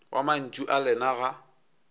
wa mantšu a lena ga